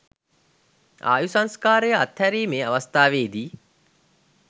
ආයු සංස්කාරය අත්හැරීමේ අවස්ථාවේදි